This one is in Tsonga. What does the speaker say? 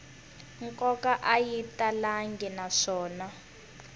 nkoka a yi talangi naswona